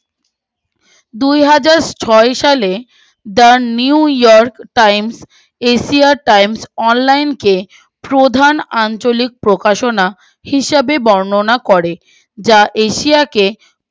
দুহাজার ছয় সালে the new york times asia times online কে প্রধান আঞ্চলিক প্রকাশনা হিসাবে বণনা করে যা এশিয়াকে